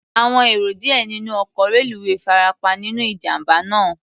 Àwọn èrò díẹ̀ nínú ọkọ̀ reluwé farapa nínú ìjàm̀bá náà.